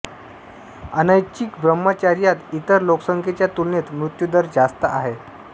अनैच्छिक ब्राम्ह्चार्यांत इतर लोकसंख्येच्या तुलनेत मृत्यूदर जास्तं आहे